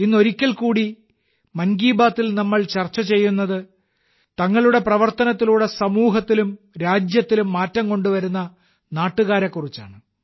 ഇന്ന് മുതൽ ഒരിക്കൽ കൂടി 'മൻ കി ബാത്തിൽ' നമ്മൾ ചർച്ച ചെയ്യുന്നത് തങ്ങളുടെ പ്രവർത്തനത്തിലൂടെ സമൂഹത്തിലും രാജ്യത്തിലും മാറ്റം കൊണ്ടുവരുന്ന നാട്ടുകാരെക്കുറിച്ചാണ്